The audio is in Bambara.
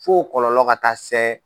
Fo kɔlɔlɔ ka taa sɛ.